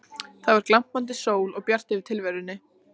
Það var glampandi sól og bjart yfir tilverunni.